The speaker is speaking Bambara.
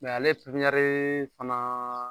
ale ɲari fanaa